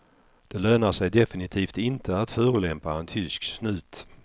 Det lönar sig definitivt inte att förolämpa en tysk snut.